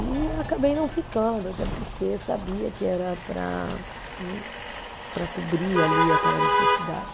E acabei não ficando, até porque sabia que era para, hum, para cobrir ali aquela necessidade.